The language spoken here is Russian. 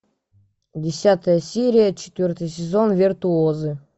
десятая серия четвертый сезон виртуозы